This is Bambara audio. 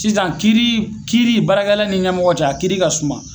Sisan kiiri kiiri baarakɛla ni ɲɛmɔgɔ cɛ a kiiri ka suma